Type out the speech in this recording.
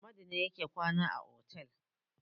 Amadu ne yake kwana a otel.